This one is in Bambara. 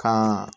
Kan